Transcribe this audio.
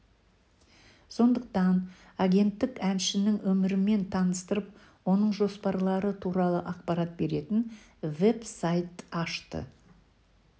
сондықтан агенттік әншінің өмірімен таныстырып оның жоспарлары туралы ақпарат беретін веб-сайт ашты